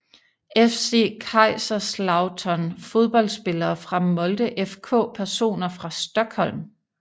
FC Kaiserslautern Fodboldspillere fra Molde FK Personer fra Stockholm